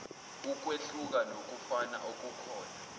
ukwehluka nokufana okukhona